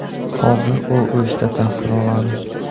Hozir u O‘shda tahsil oladi.